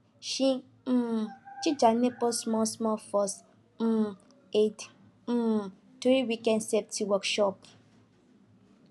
she um teach her neighbors smallsmall first um aid um during weekend safety workshop